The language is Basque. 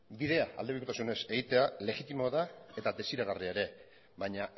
bidea aldebikotasunez egitea legitimoa da eta desiragarria ere baina